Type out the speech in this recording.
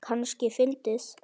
Kannski fyndið.